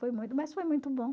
Foi mas foi muito bom.